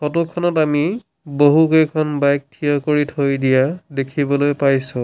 Photo খনত আমি বহুকেইখন বাইক থিয় কৰি থৈ দিয়া দেখিবলৈ পাইছোঁ।